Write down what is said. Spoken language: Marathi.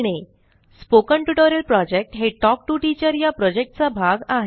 स्पोकन टयूटोरियल प्रोजेक्ट हे तल्क टीओ टीचर चा भाग आहे